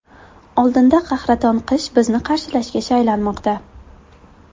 Oldinda qahraton qish bizni qarshilashga shaylanmoqda.